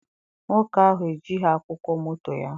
Nwoke ahụ ejighị akwụkwọ moto ya.